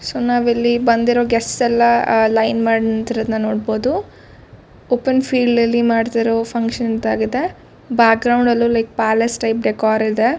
So ನಾವಿಲ್ಲಿ ಬಂದಿರೋ guest ಎಲ್ಲಾ ಅಹ್ ಲೈನ್ ಮಾಡಿ ನಿಂತಿರೋದನ್ನ ನೋಡಬಹುದು. ಓಪನ್ ಫೀಲ್ಡ್ ಅಲ್ಲಿ ಮಾಡತಿರೋ ಫಕ್ಷನ್ ತಾಗಿದೆ. ಬ್ಯಾಕ್ ಗ್ರೌಂಡ್ ಎಲ್ಲಾ ಲೈಕ್ ಪ್ಯಾಲೇಸ್ ಟೈಪ್ ಡೆಕಾರ್ ಇದೆ.